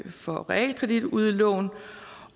for realkreditudlån